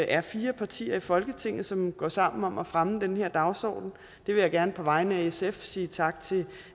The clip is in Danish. er fire partier i folketinget som går sammen om at fremme den her dagsorden det vil jeg gerne på vegne af sf sige tak til